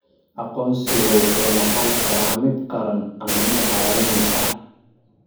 Aqoonsigu wuxuu noqon karaa mid qaran ama mid caalami ah.